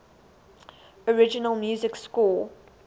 original music score